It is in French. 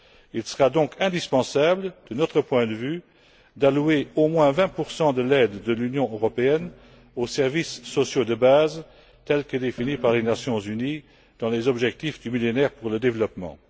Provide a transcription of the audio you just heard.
Il sera donc indispensable, de notre point de vue, d'allouer au moins 20 de l'aide de l'Union européenne aux services sociaux de base tels que définis par les Nations unies dans les objectifs du Millénaire pour le développement.